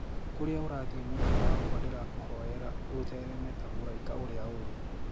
Kuria urathie mwendwa wakwa ndirakuhoyera uthereme taa muraika uria uri.